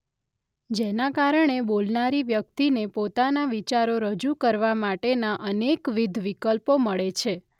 જેના કારણે બોલનારી વ્યક્તિને પોતાના વિચારો રજૂ કરવા માટેના અનેકવિધ વિકલ્પો મળે છે.